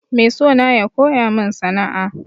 Mai sona ya koya min sana'a.